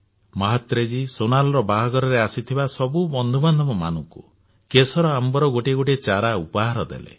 ମାହାତ୍ରେଜୀ ସୋନାଲର ବାହାଘରରେ ଆସିଥିବା ସବୁ ବନ୍ଧୁବାନ୍ଧମାନଙ୍କୁ କେଶର ଆମ୍ବର ଗୋଟିଏ ଚାରା ଉପହାରରେ ଦେଲେ